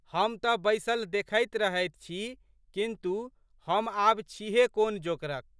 हम तऽ बैसल देखैत रहैत छी किन्तु, हम आब छीहे कोन जोकरक?